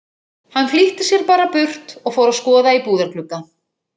Hann flýtti sér bara burt og fór að skoða í búðarglugga.